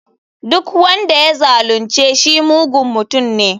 Duk wanda ya zalunce shi mugun mutum ne.